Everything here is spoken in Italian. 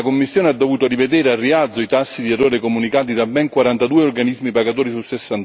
La Commissione ha dovuto rivedere al rialzo i tassi di errore comunicati da ben 42 organismi pagatori su